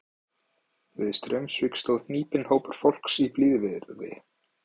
Við Straumsvík stóð hnípinn hópur fólks í blíðviðri.